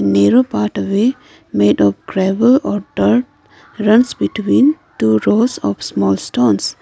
narrow part away made of gravel or dirt runs between two rows of small stones.